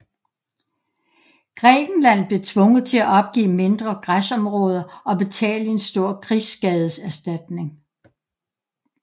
Grækenland blev tvunget til at opgive mindre grænseområder og betale en stor krigsskadeserstatning